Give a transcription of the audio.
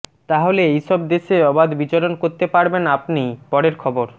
তাহলে এই সব দেশে অবাধ বিচরণ করতে পারবেন আপনি পরের খবর